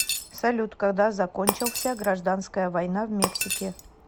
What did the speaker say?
салют когда закончился гражданская война в мексике